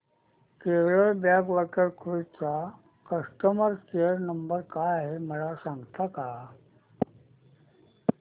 Kerala backwater cruise चा customer care number काय आहे मला सांगता का